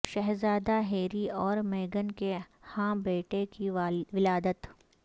شہزادہ ہیری اور میگن کے ہاں بیٹے کی ولادت